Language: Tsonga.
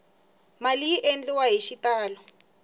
mali yi endliwa hi xitalo